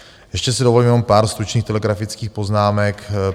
Ještě si dovolím jenom pár stručných telegrafických poznámek.